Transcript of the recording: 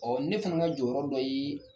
Ɔ ne fana ka jɔyɔrɔ dɔ ye